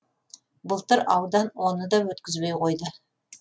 былтыр аудан оны да өткізбей қойды